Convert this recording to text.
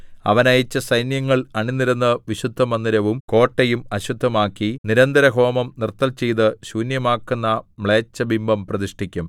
അവൻ അയച്ച സൈന്യങ്ങൾ അണിനിരന്ന് വിശുദ്ധമന്ദിരവും കോട്ടയും അശുദ്ധമാക്കി നിരന്തരഹോമം നിർത്തൽചെയ്ത് ശൂന്യമാക്കുന്ന മ്ലേച്ഛബിംബം പ്രതിഷ്ഠിക്കും